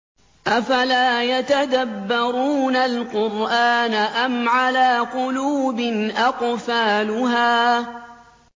أَفَلَا يَتَدَبَّرُونَ الْقُرْآنَ أَمْ عَلَىٰ قُلُوبٍ أَقْفَالُهَا